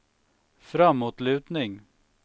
framåtlutning